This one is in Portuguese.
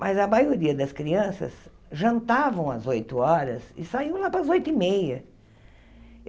Mas a maioria das crianças jantavam às oito horas e saíam lá para às oito e meia.